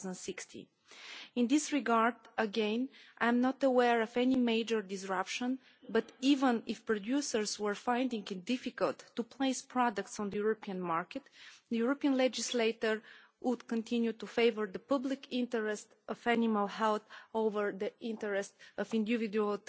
2016. In this regard, again, I am not aware of any major disruption, but even if producers were finding it difficult to place products on the European market, the European legislator would continue to favour the public interest of animal health over the interest of individual